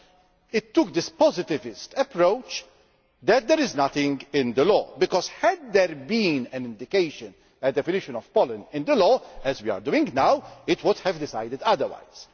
but it took this positivist approach that there is nothing in the law because, had there been an indication a definition of pollen in the law as we are determining now, it would have decided otherwise.